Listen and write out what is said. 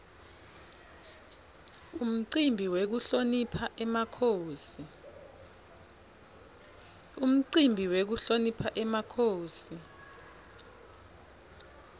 umcimbi wekuhlonipha emakhosi